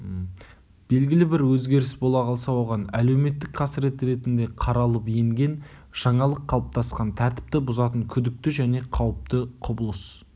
белгілі бір өзгеріс бола қалса оған әлеуметтік қасірет ретінде қаралып енген жаңалық қалыптасқан тәртіпті бұзатын күдікті және қауіпті құбылыс